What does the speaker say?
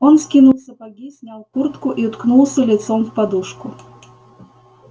он скинул сапоги снял куртку и уткнулся лицом в подушку